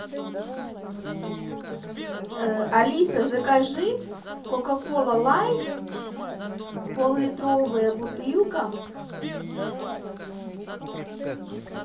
алиса закажи кока кола лайт поллитровая бутылка